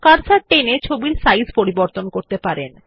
cursor টেনে ছবিটির size পরিবর্তন করতে পারেন